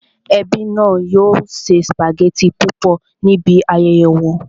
Ẹbí náà yóò se sùpàgẹ́tì púpọ̀ níbi ayẹyẹ wọn